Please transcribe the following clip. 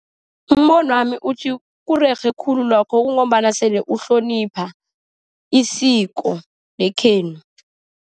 Umbonwami uthi kurerhe khulu lokho, kungombana sele ukuhlonipha isiko lekhenu.